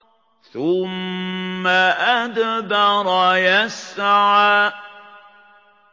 ثُمَّ أَدْبَرَ يَسْعَىٰ